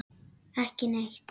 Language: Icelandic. Ekki neitt